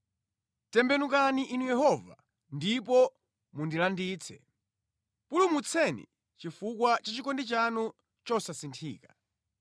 Tembenukani Inu Yehova, ndipo mundilanditse; pulumutseni chifukwa cha chikondi chanu chosasinthika.